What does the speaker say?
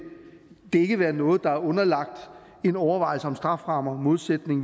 det ikke være noget der er underlagt en overvejelse om strafferammer i modsætning